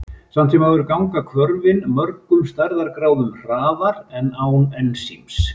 Samt sem áður ganga hvörfin mörgum stærðargráðum hraðar en án ensíms.